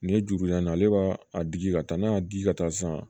Nin ye juru yan ale b'a digi ka taa n'a y'a di ka taa san